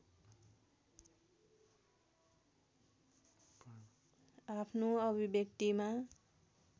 आफ्नो अभिव्यक्तिमा